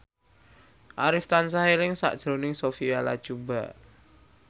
Arif tansah eling sakjroning Sophia Latjuba